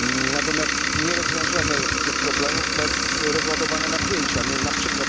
Natomiast nie rozwiążemy tych problemów bez rozładowania napięcia, np.